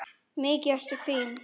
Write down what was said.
Mikið ertu fín!